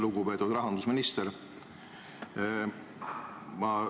Lugupeetud rahandusminister!